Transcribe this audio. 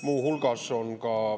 Muu hulgas on ka …